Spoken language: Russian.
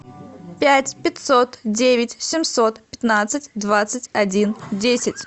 пять пятьсот девять семьсот пятнадцать двадцать один десять